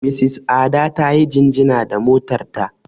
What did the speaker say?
Mrs Ada ta yi jingina da motar ta.